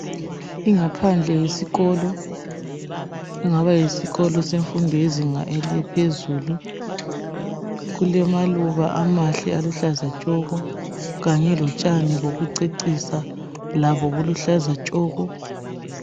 Ingaphandle yesikolo engaba yisikolo semfundo yezinga elaphezulu. Kulamaluba amahle aluhlaza tshoko Kanye lotshani bokucecisa labo buluhlaza tshoko